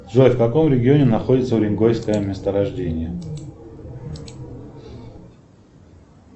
джой в каком регионе находится уренгойское месторождение